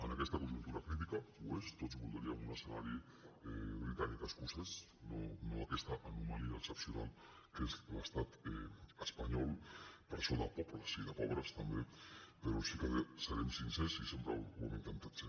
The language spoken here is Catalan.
en aquesta conjuntura crítica ho és tots voldríem un escenari britanicoescocès no aquesta anomalia excepcional que és l’estat espanyol presó de pobles i de pobres també però sí que serem sincers i sempre ho hem intentat ser